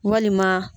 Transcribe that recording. Walima